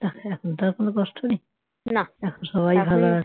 যাক এখন তো আর কোন কষ্ট নেই এখন সবাই ভালো আছে।